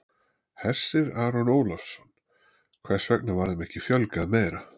Hersir Aron Ólafsson: Hvers vegna var þeim ekki fjölgað meira?